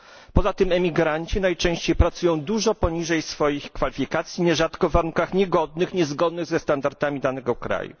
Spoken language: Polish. Poza tym emigranci najczęściej pracują dużo poniżej swoich kwalifikacji, nierzadko w warunkach niegodnych, niezgodnych ze standardami danego kraju.